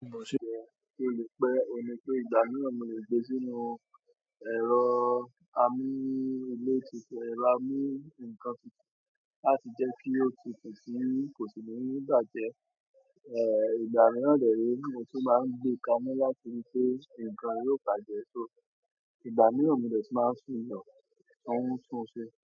Ki o le pe, oun ni pe ìgbà mìíràn mo le gbé sínú ẹ̀rọ amu ilé tutú, ẹ̀rọ amí nǹkan tutu láti jẹ́ kí ó tutu ti kò sí ni bàjẹ́, ìgbà mìíràn dẹ̀ re mo tun máa ń gbé kaná láti ri pe nǹkan yìí o bàjẹ́. So ìgbà mìíràn mo de máa tún yàn kí wọn tún un ṣe.